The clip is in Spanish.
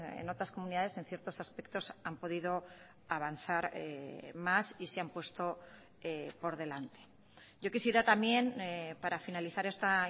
en otras comunidades en ciertos aspectos han podido avanzar más y se han puesto por delante yo quisiera también para finalizar esta